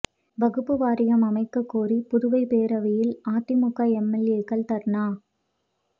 வக்பு வாரியம் அமைக்கக் கோரி புதுவை பேரவையில் அதிமுக எம்எல்ஏக்கள் தா்னா